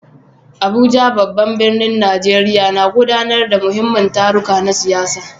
Abuja, babban birnin Najeriya, na gudanar da muhimman taruka na siyasa.